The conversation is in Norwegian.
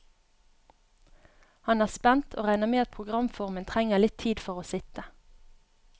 Han er spent, og regner med at programformen trenger litt tid for å sitte.